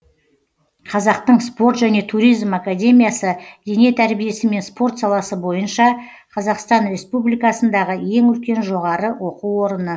қазақтың спорт және туризм академиясы дене тәрбиесі мен спорт саласы бойынша қазақстан республикасындағы ең үлкен жоғары оқу орыны